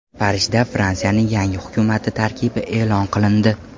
Parijda Fransiyaning yangi hukumati tarkibi e’lon qilindi.